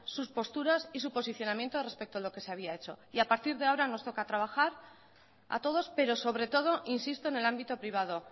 sus posturas y su posicionamiento respecto a lo que se había hecho y a partir de ahora nos toca trabajar a todos pero sobre todo insisto en el ámbito privado